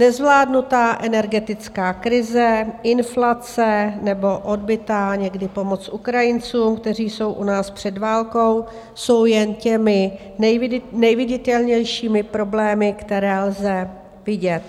Nezvládnutá energetická krize, inflace nebo odbytá někdy pomoc Ukrajincům, kteří jsou u nás před válkou, jsou jen těmi nejviditelnějšími problémy, které lze vidět.